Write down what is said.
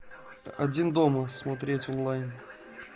один дома смотреть онлайн